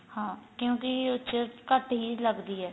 ਹਾਂ ਕਿਉਂਕਿ ਘੱਟ ਹੀ ਲੱਗਦੀ ਏ